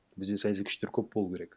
бізде саяси күштер көп болу керек